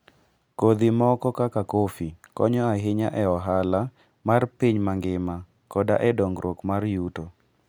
Kodhi moko kaka kofi, konyo ahinya e ohala mar piny mangima koda e dongruok mar yuto.